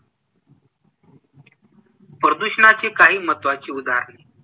प्रदूषणाची काही महत्त्वाची उदाहरणे